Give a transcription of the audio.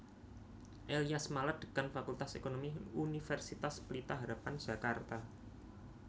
Elyas Malat Dekan Fakultas Ekonomi Universitas Pelita harapan Jakarta